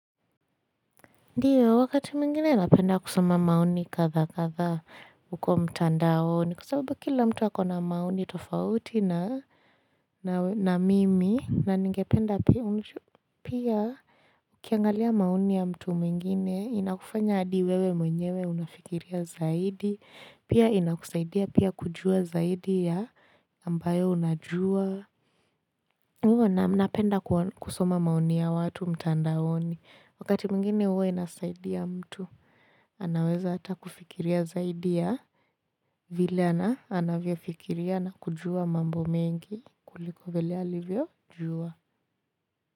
Ndiyo wakati mwingine napenda kusoma maoni kadhaa kadhaa huko mtandaoni kwa sababu kila mtu akona maoni tofauti na na mimi na ningependa pia ukiangalia maoni ya mtu mwingine inakufanya hadi wewe mwenyewe unafikiria zaidi pia inakusaidia pia kujua zaidi ya ambayo unajua kwa hivo na napenda kusoma maoni ya watu mtandaoni. Wakati mwingine huwa inasaidia mtu. Anaweza hata kufikiria zaidi ya. Vile ana anavyo fikiria na kujua mambo mengi. Kuliko vile alivyo jua.